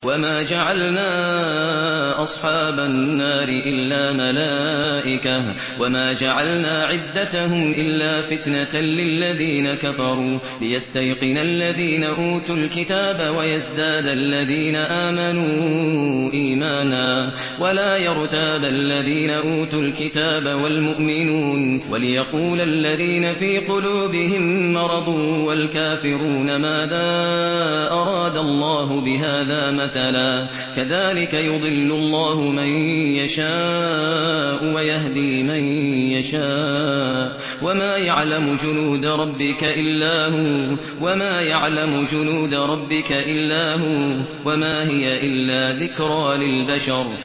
وَمَا جَعَلْنَا أَصْحَابَ النَّارِ إِلَّا مَلَائِكَةً ۙ وَمَا جَعَلْنَا عِدَّتَهُمْ إِلَّا فِتْنَةً لِّلَّذِينَ كَفَرُوا لِيَسْتَيْقِنَ الَّذِينَ أُوتُوا الْكِتَابَ وَيَزْدَادَ الَّذِينَ آمَنُوا إِيمَانًا ۙ وَلَا يَرْتَابَ الَّذِينَ أُوتُوا الْكِتَابَ وَالْمُؤْمِنُونَ ۙ وَلِيَقُولَ الَّذِينَ فِي قُلُوبِهِم مَّرَضٌ وَالْكَافِرُونَ مَاذَا أَرَادَ اللَّهُ بِهَٰذَا مَثَلًا ۚ كَذَٰلِكَ يُضِلُّ اللَّهُ مَن يَشَاءُ وَيَهْدِي مَن يَشَاءُ ۚ وَمَا يَعْلَمُ جُنُودَ رَبِّكَ إِلَّا هُوَ ۚ وَمَا هِيَ إِلَّا ذِكْرَىٰ لِلْبَشَرِ